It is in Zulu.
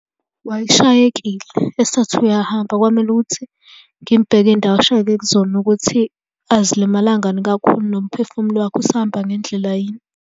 Wayeshayekile, esathi uyahamba kwamele ukuthi ngimbheke iy'ndawo ashayeke kuzona ukuthi azilimalangani kakhulu nomphefumulo wakhe usahamba ngendlela yini.